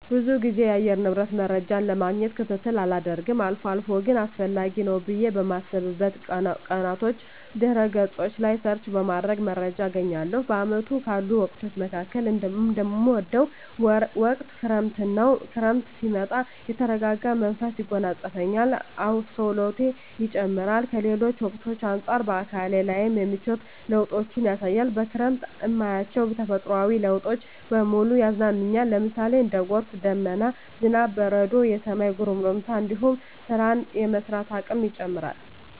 ብዙ ግዜ የአየር ንብረት መረጃን ለማግኘት ክትትል አላደርግም አልፎ አልፎ ግን አስፈላጊ ነው ብየ በማስብበት ቀናቶች ድህረ ገጾች ላይ ሰርች በማድረግ መረጃ አገኛለሁ። በአመቱ ካሉ ወቅቶች መካከል እምወደው ወቅት ክረምትን ነው። ክረምት ሲመጣ የተረጋጋ መንፈስ ያጎናጽፈኛል፣ አስተውሎቴ ይጨምራር፣ ከሌሎች ወቅቶች አንጻር በአካሌ ላይም የምቿት ለውጦችን ያሳያል፣ በክረምት እማያቸው ተፈጥሮአዊ ለውጦች በሙሉ ያዝናኑኛል ለምሳሌ:- እንደ ጎርፍ፣ ደመና፣ ዝናብ፣ በረዶ፣ የሰማይ ጉርምርምታ እንዲሁም ስራን የመስራት አቅሜ ይጨምራር